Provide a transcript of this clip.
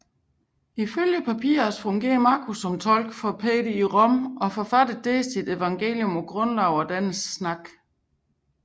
Ifølge Papias fungerede Markus som tolk for Peter i Rom og forfattede der sit evangelium på grundlag af dennes taler